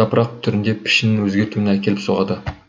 жапырақ түрінде пішінін өзгертуіне әкеліп соғады